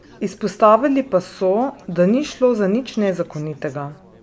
Izpostavili pa so, da ni šlo za nič nezakonitega.